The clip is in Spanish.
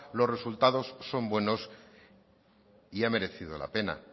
los resultados son buenos y ha merecido la pena